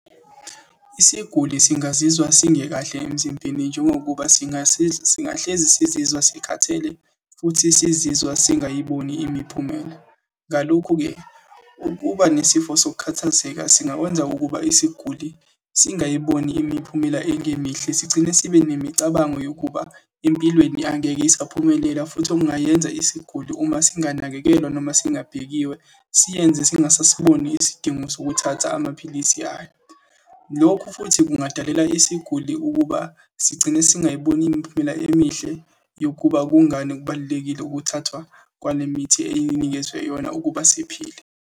Isiguli singazizwa singekahle emzimbeni, njengokuba singasiza singahlezi sizizwa sikhathele, futhi sizizwa singayiboni imiphumela. Ngalokhu-ke, ukuba nesifo sokukhathazeka singakwenza ukuba isiguli singayiboni imiphumela engemihle, sigcine sibe nemicabango yokuba empilweni angeke isaphumelela, futhi okungayenza isiguli uma singanakekelwa noma singabhekisiwe siyenze singasiboni isidingo sokuthatha amaphilisi ayo. Lokhu futhi kungadalela isiguli ukuba sigcine singayiboni imiphumela emihle yokuba kungani kubalulekile ukuthathwa kwale mithi ey'nikezwe yona ukuba siphile.